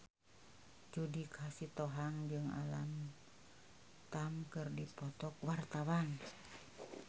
Judika Sitohang jeung Alam Tam keur dipoto ku wartawan